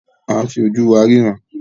A ǹ fi oju wa riran.